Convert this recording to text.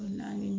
Naani